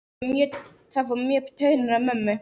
Það fór mjög í taugarnar á mömmu.